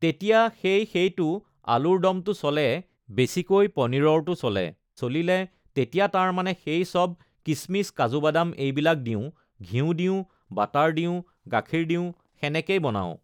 তেতিয়া সেই সেইটো আলুৰ ডমটো চলে বেছিকৈ পনীৰৰটো চলে, চলিলে তেতিয়া তাৰমানে সেই সব কিচমিচ কাজু বাদাম এইবিলাক দিওঁ, ঘিঁউ দিওঁ, বাটাৰ দিওঁ, গাখীৰ দিওঁ সেনেকেই বনাওঁ